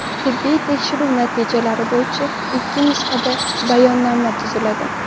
Tibbiy tekshiruv natijalari bo‘yicha ikki nusxada bayonnoma tuziladi.